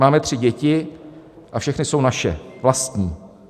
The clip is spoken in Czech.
Máme tři děti a všechny jsou naše, vlastní.